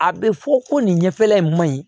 A bɛ fɔ ko nin ɲɛfɛla in ma ɲi